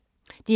DR K